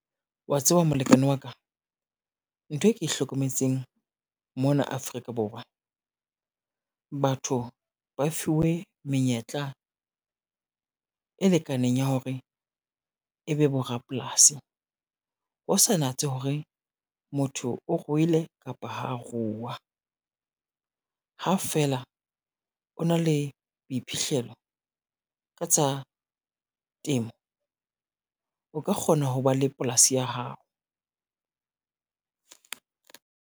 Wa tseba molekane wa ka, ntho e ke hlokometseng mona Afrika Borwa, batho ba fiwe menyetla, e lekaneng ya hore e be bo rapolasi. Ho sa natse hore motho o ruile kapa ho ruwa, ha fela o na le boiphihlelo ka tsa temo, o ka kgona ho ba le polasi ya hao.